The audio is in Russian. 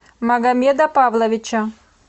магомеда павловича